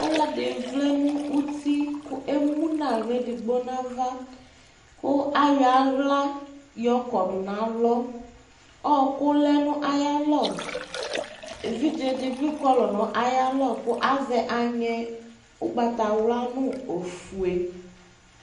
Ɔlɔdi vlɛ nʋ uti kʋ emu n'aɣla edigbo n'ava, kʋ ayɔ aɣla yɔ kɔdʋ n'alɔ Ɔkʋ lɛ n'ayalɔ, evidze dibi kɔlʋ nʋ ayalɔ kʋ azɛ aŋɛ ʋgbatawla nʋ ofue